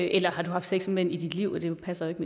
eller har du haft sex med mænd i dit liv det passer jo